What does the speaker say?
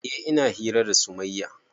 Eh ina hira da sumayya